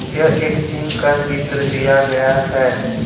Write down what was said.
यह एक जिम का चित्र दिया गया है।